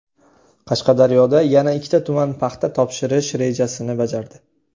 Qashqadaryoda yana ikkita tuman paxta topshirish rejasini bajardi.